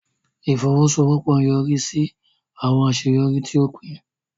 Ifowosowopo nyorisi si awọn aṣeyọri ti o pin.